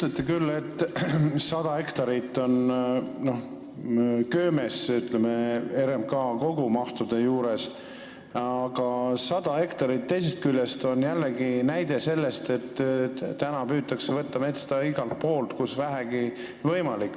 Te ütlete küll, et 100 hektarit on köömes RMK kogumahtudega võrreldes, aga teisest küljest on 100 hektarit jällegi näide selle kohta, et metsa püütakse maha võtta igal pool, kus vähegi võimalik.